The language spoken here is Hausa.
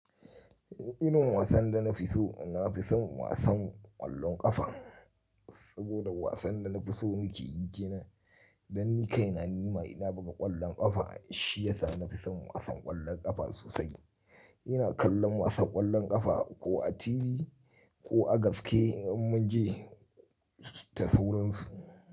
Irin wasan da na fi so, na fi son wasan ƙwallon ƙafa. Saboda wasan da na fi so na ke yi ke nan. Dan ni kai na nima ina buga ƙwallon ƙafa, shi ya sa na fi son wasan ƙwallon ƙafa sosai. Ina kallon wasan ƙwallon ƙafa ko a TV ko a gaske in mun je tafu wurinsu.